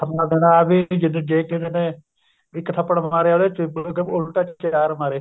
ਨਾਲ ਦੇਣਾ ਆਹ ਵੀ ਜੇ ਕਿਸੇ ਨੇ ਇੱਕ ਥੱਪਰ ਮਾਰਿਆ ਉਹਦੇ ਉੱਲਟਾ ਚਾਰ ਮਾਰੇ